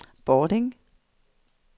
Bording